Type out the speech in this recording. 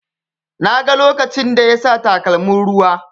Na ga lokacin da yasa takalmin ruwa.